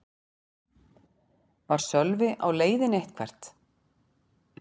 Var Sölvi á leiðinni eitthvert?